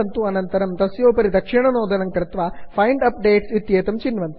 अनन्तरं तस्योपरि दक्षिणनोदनं कृत्वा फाइण्ड अपडेट्स् फैन्ड् अप्डेट्स् इत्येतं चिन्वन्तु